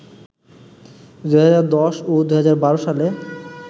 ২০১০ ও ২০১২ সালে